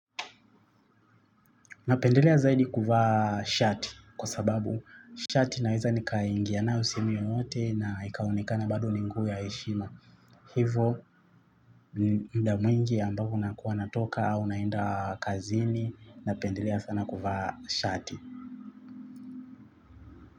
Napendelea zaidi kuvaa shati kwa sababu shati naweza nikaingia na sehemu yoyote naikaonekana bado ni nguo ya heshima. Hivo muda mwingi ambavyo nakuwa natoka, au naenda kazini, napendelea sana kuvaa shati.